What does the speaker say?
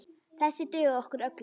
Þessir duga okkur öllum.